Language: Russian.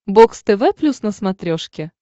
бокс тв плюс на смотрешке